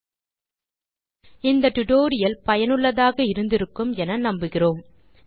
நீங்கள் இந்த டுடோரியலை ரசித்திருப்பீர்கள் பயனுள்ளதாக இருக்கும் என்று நம்புகிறேன்